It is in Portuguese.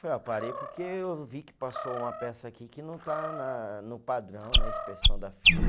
Eu falei, ó, parei porque eu vi que passou uma peça aqui que não está na, no padrão, na inspeção da firma.